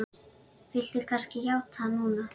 Viltu kannski játa núna?